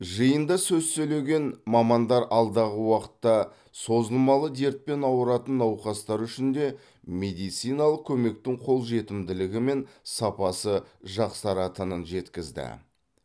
жиында сөз сөйлеген мамандар алдағы уақытта созылмалы дертпен ауыратын науқастар үшін де медициналық көмектің қолжетімділігі мен сапасы жақсаратынын жеткізді